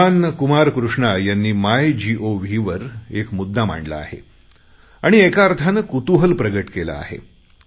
श्रीमान कुमार कृष्णा यांनी मायगोव वर एक मुद्दा मांडला आहे आणि एका अर्थाने कुतूहल प्रगट केले आहे